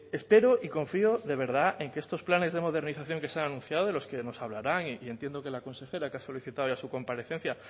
espero y confío de verdad en que estos planes de modernización que se han anunciado de los que nos hablarán y entiendo que la consejera que ha solicitado ya su comparecencia